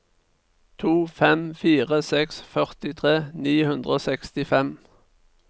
to fem fire seks førtitre ni hundre og sekstifem